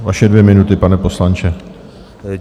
Vaše dvě minuty, pane poslanče.